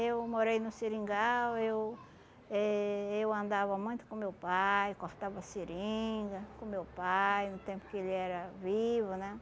Eu morei no Seringal, eu eh eu andava muito com meu pai, cortava seringa com meu pai no tempo que ele era vivo, né?